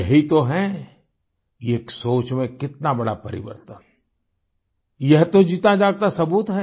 यही तो है ये एक सोच में कितना बड़ा परिवर्तन यह तो जीताजागता सबूत है